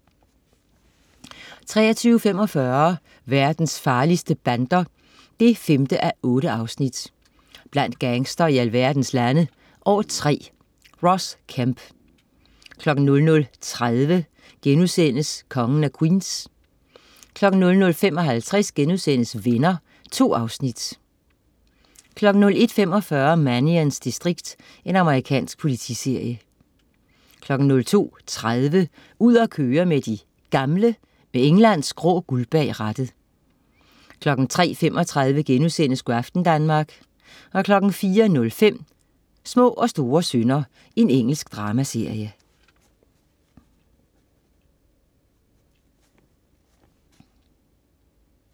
23.45 Verdens farligste bander 5:8. Blandt gangstere i alverdens lande. År 3. Ross Kemp 00.30 Kongen af Queens* 00.55 Venner.* 2 afsnit 01.45 Mannions distrikt. Amerikansk politiserie 02.30 Ud at køre med de gamle. Med Englands grå guld bag rattet 03.35 Go' aften Danmark* 04.05 Små og store synder. Engelsk dramaserie